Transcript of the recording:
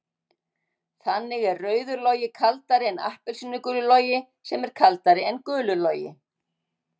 Þannig er rauður logi kaldari en appelsínugulur logi sem er kaldari en gulur logi.